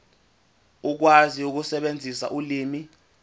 ukwazi ukusebenzisa ulimi